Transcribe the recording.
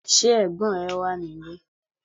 Ṣé ẹ̀gbọ́n rẹ wà ní ilé?